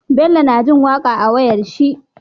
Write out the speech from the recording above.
Bello na jin waƙa a wayar shi